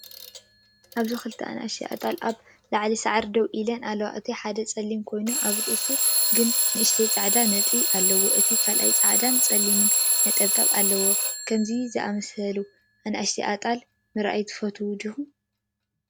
ኣብዚ ክልተ ንኣሽቱ ኣጣል ኣብ ልዕሊ ሳዕሪ ደው ኢለን ኣለዋ። እቲ ሓደ ጸሊም ኮይኑ፡ ኣብ ርእሱ ግን ንእሽቶ ጻዕዳ ነጥቢ ኣለዎ፤ እቲ ካልእ ጻዕዳን ጸሊም ነጠብጣብን ኣለዎ። ከምዚ ዝኣመሰለ ንኣሽቱ ኣጣል ምርኣይ ትፈቱ ዲኻ?